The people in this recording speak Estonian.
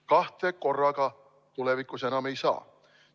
Kahte korraga tulevikus enam ei saa.